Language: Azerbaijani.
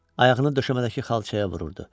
Ayağını döşəmədəki xalçaya vururdu.